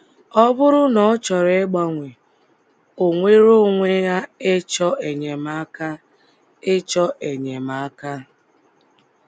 Ọ bụrụ na ọ chọrọ ịgbanwe, o nwere onwe ya ịchọ enyemaka. ịchọ enyemaka.